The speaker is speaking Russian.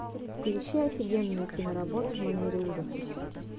включи офигенную киноработу в манере ужасов